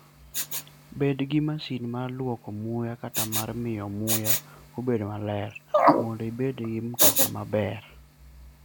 Bed gi masin mar lwoko muya kata mar miyo muya obed maler, mondo ibed gi mtoka maber.